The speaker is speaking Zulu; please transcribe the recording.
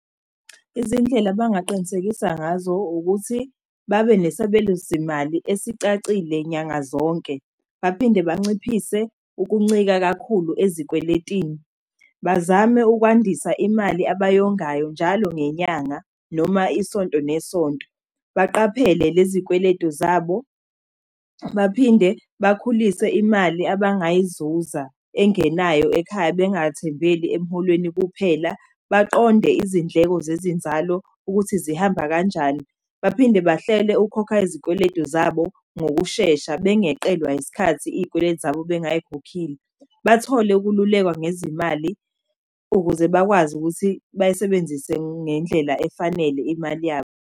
Izindlela bangaqinisekisa ngazo ukuthi babe nesabelo semali esicacile nyanga zonke. Baphinde banciphise ukuncika kakhulu ezikweletini, bazame ukwandisa imali abayongayo njalo ngenyanga, noma isonto nesonto. Baqaphele lezikweletu zabo, baphinde bakhulise imali abangayizuza engenayo ekhaya, bengathembeli emholweni kuphela, baqonde izindleko zezinzalo ukuthi zihamba kanjani. Baphinde bahlele ukukhokha izikweletu zabo ngokushesha, bengeqelwa isikhathi iy'kweletu zabo bengay'khokhile. Bathole ukululekwa ngezimali ukuze bakwazi ukuthi bayisebenzise ngendlela efanele imali yabo.